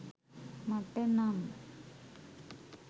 මට නම්.